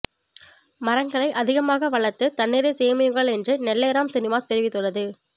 மரங்களை அதிகமாக வளர்த்து தண்ணீரை சேமியுங்கள் என்று நெல்லை ராம் சினிமாஸ் தெரிவித்துள்ளது